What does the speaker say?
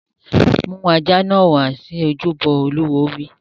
Mú ajá náà wá sí ojúbọ! Olúwo wí.